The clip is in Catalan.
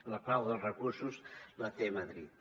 la clau dels recursos la té madrid